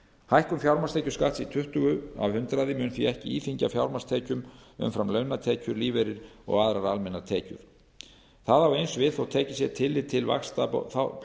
hækkun fjármagnstekjuskatts í tuttugu prósent mun því ekki íþyngja fjármagnstekjum umfram launatekjur lífeyri og aðrar almennar tekjur það á eins við þótt tekið sé tillit til